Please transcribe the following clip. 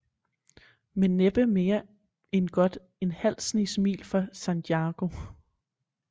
Men næppe mere end godt en halv snes mil fra sanjago